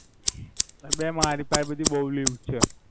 બે મારી પાહે બધું બોવ વ્યુ છે